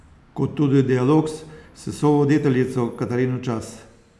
Kot tudi dialog s sovoditeljico Katarino Čas.